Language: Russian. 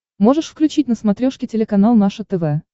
можешь включить на смотрешке телеканал наше тв